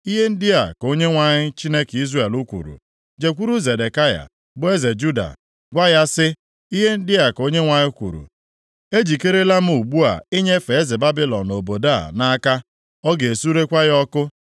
“Ihe ndị a ka Onyenwe anyị, Chineke Izrel kwuru, Jekwuru Zedekaya bụ eze Juda, gwa ya sị, ‘Ihe ndị a ka Onyenwe anyị kwuru, ejikerela m ugbu a inyefe eze Babilọn obodo a nʼaka. Ọ ga-esurekwa ya ọkụ.